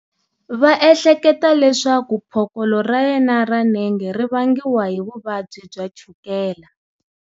va ehleketa leswaku phokolo ra yena ra nenge ri vangiwa hi vuvabyi bya chukela.